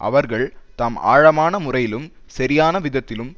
அவர்கள் தாம் ஆழமான முறையிலும் சரியான விதத்திலும்